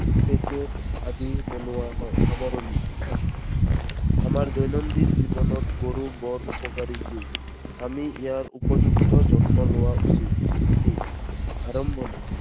Packet আদি বনোৱা হয়। সামৰণি। আমাৰ দৈনন্দিন জীৱনত গৰুবোৰ উপকাৰী জীৱ। আমি ইয়াৰ উপযুক্ত যত্ন লোৱা উচিত। হাতী, আৰম্ভণি।